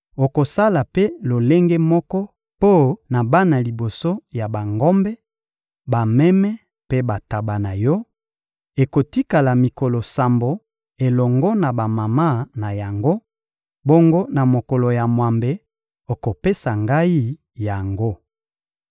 Okosala mpe lolenge moko mpo na bana liboso ya bangombe, bameme mpe bantaba na yo: ekotikala mikolo sambo elongo na bamama na yango; bongo na mokolo ya mwambe, okopesa Ngai yango.